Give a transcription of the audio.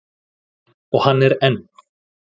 Og hann er enn.